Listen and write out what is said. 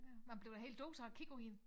Man bliver da helt døsig af at kigge på hende